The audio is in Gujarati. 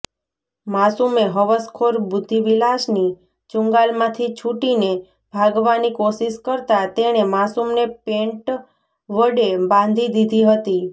માસૂમે હવસખોર બુદ્ધિવિલાસની ચુંગાલમાંથી છૂટીને ભાગવાની કોશિશ કરતા તેણે માસૂમને પેન્ટ વડે બાંધી દીધી હતી